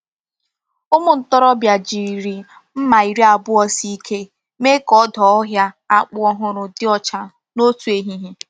Ụmụ ntorobịa jiri mma iri abụọ sie ike mee ka ọdụ ọhịa akpụ ọhụrụ dị ọcha n’otu ehihie.